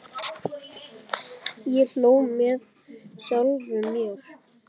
Ég hló með sjálfum mér.